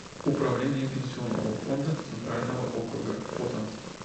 управление пенсионного фонда центрального округа фото